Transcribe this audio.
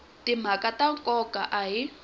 timhaka ta nkoka a yi